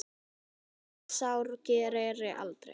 Það sár greri aldrei.